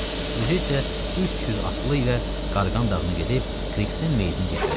Özü isə 300 atlı ilə Qarğan dağına gedib Krixin meytini gətirəcəkdi.